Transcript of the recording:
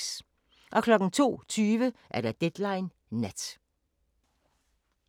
02:20: Deadline Nat